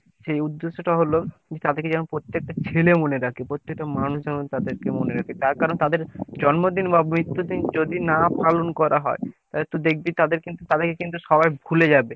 সেই উদ্যেশ টা হলো। যে তাদের কে যেন প্রত্যেকটা ছেলে মনে রাখে প্রত্যেক টা মানুষ যেন তাদের কে মনে রাখে তার কারণ তাদের জন্মদিন বা মৃত্যু দিন যদি না পালন করা হয়। তাহলে তুই দেখবি তাদের কিন্তু তাদেরকে কিন্তু সবাই ভুলে যাবে